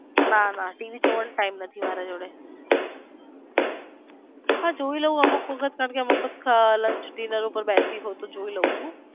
ના ના ટીવી જોવાનો time નથી મારી જોડે હા જોઈ લવ અમુક વખત કારણકે અમુક વખત luanch dinner ઉપર બેસી હોઈ તો જોઈ લવ છું.